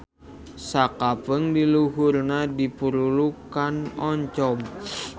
Sakapeung di luhurna dipurulukkan oncom.